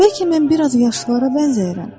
Bəlkə mən bir az yaşlılara bənzəyirəm.